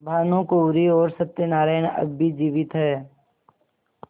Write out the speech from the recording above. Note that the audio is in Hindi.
भानुकुँवरि और सत्य नारायण अब भी जीवित हैं